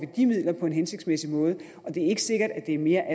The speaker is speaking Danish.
de midler på en hensigtsmæssig måde og det er ikke sikkert at det er mere